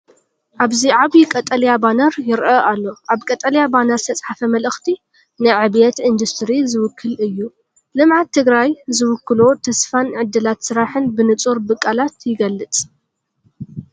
ኣብዚ ዓቢ ቀጠልያ ባነር ይርአ ኣሎ። ኣብ ቀጠልያ ባነር ዝተፅሓፈ መልእኽቲ ንዕብየት ኢንዱስትሪ ዝውክል እዩ፤ ልምዓት ትግራይ ዝውክሎ ተስፋን ዕድላት ስራሕን ብንጹር ብቓላት ይግለጽ።